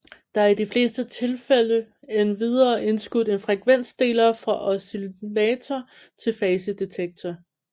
Der er i de fleste tilfælde endvidere indskudt en frekvensdeler fra oscillator til fasedetektor